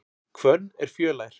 Hvönn er fjölær.